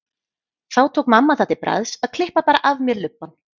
Þá tók mamma það til bragðs að klippa bara af mér lubbann.